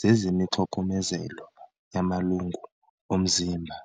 zezemixokomezelo yamalungu omzimba.